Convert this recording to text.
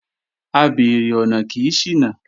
Abeèrè ọ̀nà kì í ṣìnà